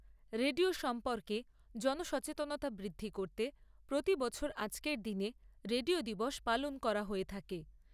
Radio সম্পর্কে জন সচেতনতা বৃদ্ধি করতে প্রতি বছর আজকের দিনে রেডিও দিবস পালন করা হয়ে থাকে।